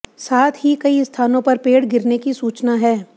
साथ ही कई स्थानों पेड़ गिरने की सूचना है